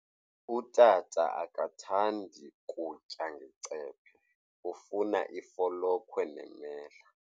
Utata akathandi kutya ngecephe, ufuna ifolokhwe nemela.